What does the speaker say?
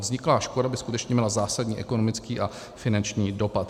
Vzniklá škoda by skutečně měla zásadní ekonomický a finanční dopad.